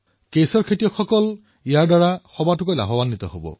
কেশৰৰ কৃষকসকল বিশেষভাৱে উপকৃত হব